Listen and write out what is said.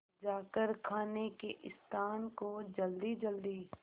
जाकर खाने के स्थान को जल्दीजल्दी